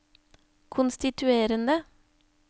konstituerende